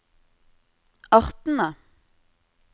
artene